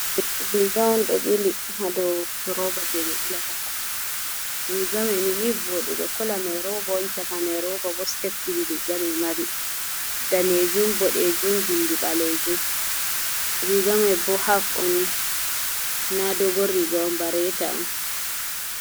Riga on ɗo bili ha do roba je ɓe bilatakare, rigame ni vodugo kola mai roba on, chakaman roba, bo step ɗiɗi rigame mari; danejum, bodejum bindi ɓalejum. Rigame bo haf on na dogo riga on ba reta on.